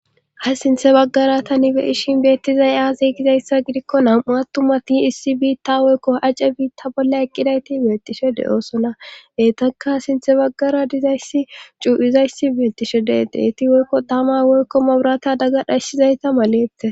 Ha sinthe baggara tani beyishin beettizay aaze gizayssa gidikko nam7u attumati issi biitta woykko ace biitta bolla eqqidayti beettishe de7oosona heytaka sinthe baggara dizayssi cuu7izayssi beettishe de7e deeti woykko tama woykko maburata daggadhayssizayta malette.